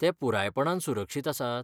तें पुरायपणान सुरक्षीत आसात?